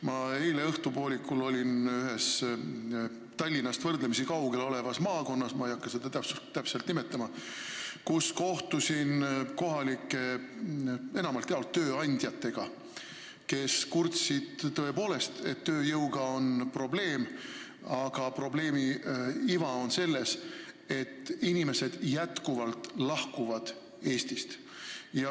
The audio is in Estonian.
Ma eile õhtupoolikul olin ühes Tallinnast võrdlemisi kaugel asuvas maakonnas – ma ei hakka seda täpselt nimetama –, kus kohtusin kohalike inimestega, enamalt jaolt tööandjatega, kes kurtsid, et tõepoolest on tööjõuga probleeme, aga probleemi iva on selles, et inimesed jätkuvalt lahkuvad Eestist.